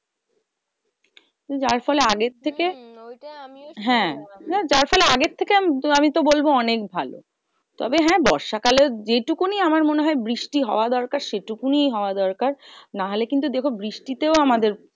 যার ফলে আগের থেকে হ্যাঁ, যার ফলে আগের থেকে আমি তো বলবো অনেক ভালো। তবে হ্যাঁ বর্ষা কালে যেটুকুনি আমার মনে হয় বৃষ্টি হওয়া দরকার সেটুকুনি হওয়া দরকার। না হলে কিন্তু দেখো বৃষ্টিতেও আমাদের